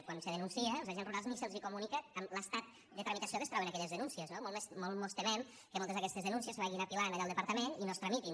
quan se denuncia als agents rurals ni se’ls comunica l’estat de tramitació en què es troben aquelles denúncies no molt mos temem que moltes d’aquestes denúncies se vagin apilant allà al departament i no es tramitin